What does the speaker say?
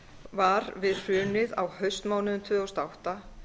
var við hrunið á haustmánuðum tvö þúsund og átta